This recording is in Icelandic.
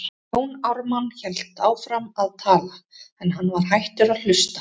Jón Ármann hélt áfram að tala, en hann var hættur að hlusta.